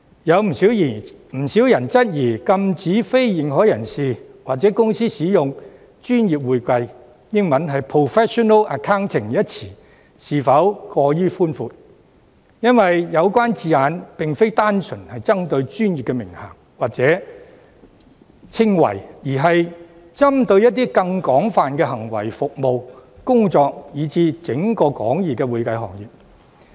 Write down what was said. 不少人質疑禁止非認可人士或公司使用"專業會計"一詞，是否過於寬闊，因為有關字眼並非單純針對專業的名銜或稱謂，而是針對更廣泛的行為服務、工作以至整個廣義的會計行業。